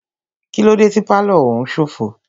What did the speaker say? Kílódé tí pálọ̀ òún ṣófo?